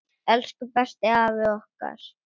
Elsku besti afi okkar!